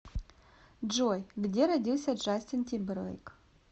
джой где родился джастин тимберлейк